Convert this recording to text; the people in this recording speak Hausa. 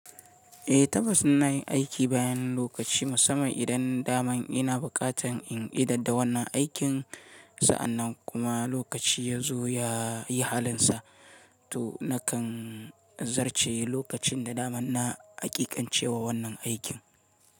Eh, tabbas ina yin aiki bayan lokaci musamman idan daman ina bukatan in idada wannan aikin, sa'annan kuma lokaci yazo ya yi halinsa. To nakan zarce lokacin da daman na hakikancewa wannan aikin.